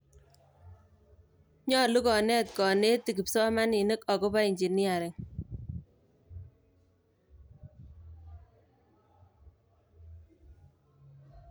Nyolu koneet konetik kipsomaninik agopo engineering